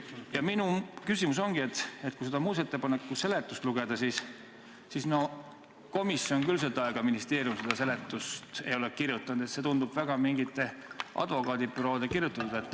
Ja minu küsimus ongi, et kui seda muudatusettepaneku seletust lugeda, siis komisjon ega ministeerium küll seda seletust ei ole kirjutanud, see tundub olevat mingite advokaadibüroode kirjutatud.